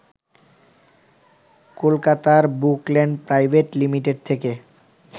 কলকাতার Bookland private limited থেকে